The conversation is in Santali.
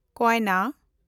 ᱠᱳᱭᱱᱟ